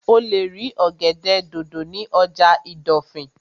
O lè rí ọ̀gẹ̀dẹ̀ dòdò ní ọjà ìdọ̀fìn